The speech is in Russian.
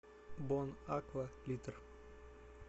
бон аква литр